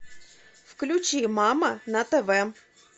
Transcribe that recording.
включи мама на тв